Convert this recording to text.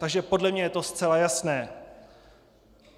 Takže podle mě je to zcela jasné.